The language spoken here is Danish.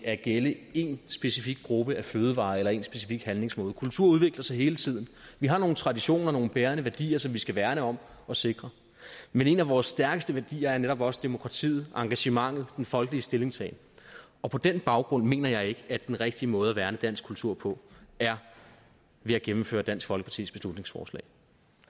at gælde én specifik gruppe af fødevarer eller én specifik handlingsmåde kultur udvikler sig hele tiden vi har nogle traditioner og nogle bærende værdier som vi skal værne om og sikre men en af vores stærkeste værdier er netop også demokratiet engagementet den folkelige stillingtagen og på den baggrund mener jeg ikke at den rigtige måde at værne dansk kultur på er ved at gennemføre dansk folkepartis beslutningsforslag